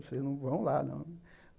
Vocês não vão lá, não.